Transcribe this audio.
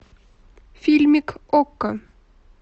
фильмик окко